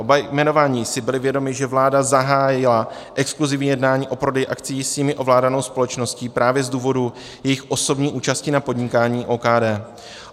Oba jmenovaní si byli vědomi, že vláda zahájila exkluzivní jednání o prodeji akcií s jimi ovládanou společností právě z důvodu jejich osobní účasti na podnikání OKD.